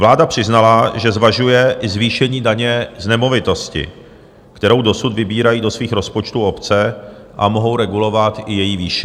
Vláda přiznala, že zvažuje i zvýšení daně z nemovitosti, kterou dosud vybírají do svých rozpočtů obce, a mohou regulovat i její výši.